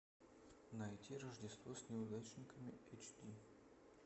найти рождество с неудачниками эйч ди